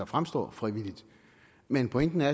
fremstår frivilligt men pointen er